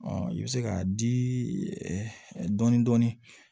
i bɛ se k'a di dɔɔnin dɔɔnin